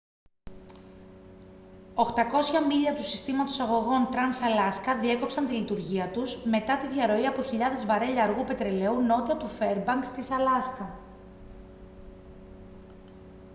800 μίλια του συστήματος αγωγών trans-alaska διέκοψαν τη λειτουργία τους μετά τη διαρροή από χιλιάδες βαρέλια αργού πετρελαίου νότια του φέρμπανκς της αλάσκα